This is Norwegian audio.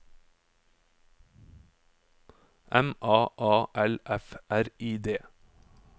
M A A L F R I D